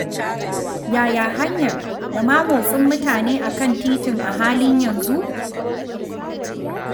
Yaya hanyar da ma motsin mutane a kan titin a halin yanzu?